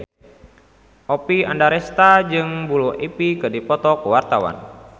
Oppie Andaresta jeung Blue Ivy keur dipoto ku wartawan